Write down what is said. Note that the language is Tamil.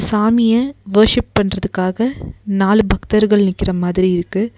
சாமிய வொர்ஷிப் பண்றதுக்காக நாலு பக்தர்கள் நிக்கற மாதிரி இருக்கு.